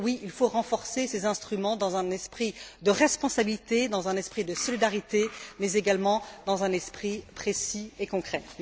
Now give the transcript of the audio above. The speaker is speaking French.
Oui, il faut renforcer ces instruments dans un esprit de responsabilité, dans un esprit de solidarité, mais également dans un esprit précis et concret.